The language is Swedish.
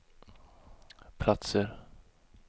platser